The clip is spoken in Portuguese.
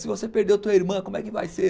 Se você perdeu tua irmã, como é que vai ser?